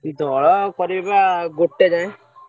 ଦୋଳ କରିବେ ବା ଗୋଟେ ଯାଏ।